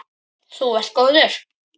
Þú varst góður.